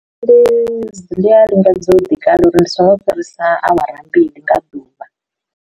Ndi a lingedza u ḓi kala uri ndi so ngo u fhirisa awara mbili nga ḓuvha.